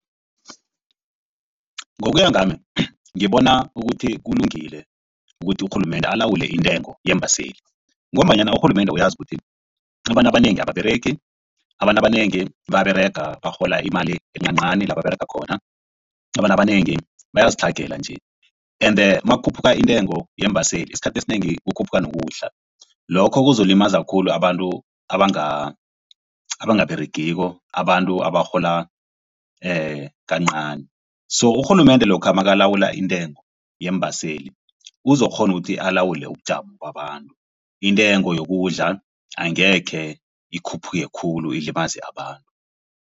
Ngokuya ngami ngibona ukuthi kulungile ukuthi urhulumende alawule intengo yeembaseli ngombanyana urhulumende uyazi ukuthi abantu abanengi ababeregi abantu abanengi bayaberega barhola imali encancani la baberega khona. Abantu abanengi bayazitlhagela nje ende makukhuphuka iintengo yeembaseli esikhathini esinengi kukhuphuka nokudla lokho kuzolimaza khulu abantu abangaberegiko abantu abarhola kancani so urhulumende lokha makalawula intengo yeembaseli uzokukghona ukuthi alawule ubujamo babantu intengo yokudla angekhe ikhuphuke khulu ilimaze abantu.